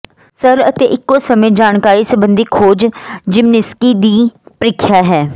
ਸਰਲ ਅਤੇ ਇੱਕੋ ਸਮੇਂ ਜਾਣਕਾਰੀ ਸੰਬੰਧੀ ਖੋਜ ਜ਼ਿਮਨੀਸਕੀ ਦੀ ਪਰੀਖਿਆ ਹੈ